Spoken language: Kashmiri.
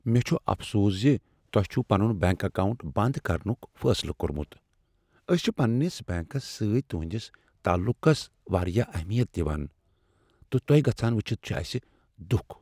مےٚ چھ افسوس ز تۄہہ چھ پنن اکاونٹ بنٛد کرنک فٲصلہٕ کوٚرمت۔ أسۍ چھ پننس بینکس سۭتۍ تہنٛدس تعلقس واریاہ اہمیت دوان، تہٕ تۄہہ گژھان وچھتھ چھ اسہ دُکھ ۔